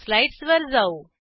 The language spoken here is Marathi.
स्लाईडसवर जाऊ